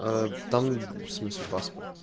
там в смысле паспорт